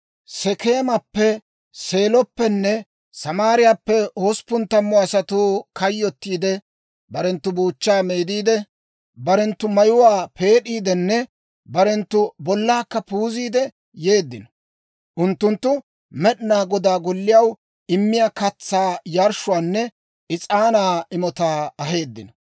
Sekeemappe, Seeloppenne Samaariyaappe hosppun tammu asatuu kayyottiidde, barenttu buuchchaa meediide, barenttu mayuwaa peed'iidenne barenttu bollaakka puuziide yeeddino. Unttunttu Med'inaa Godaa Golliyaw immiyaa katsaa yarshshuwaanne is'aanaa imotaa aheeddino.